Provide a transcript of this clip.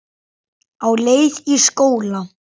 Á leið í skóla.